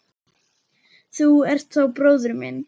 Þú ert þá bróðir minn.